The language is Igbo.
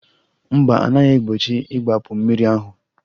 Mba, a naghị egbochi igbapu mmiri ahụ